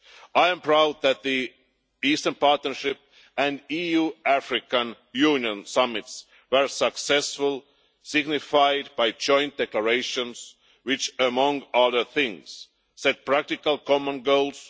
I am proud that the Eastern Partnership and the EU-African Union summits were successful, as evidenced by their joint declarations, which, among other things, set practical common goals.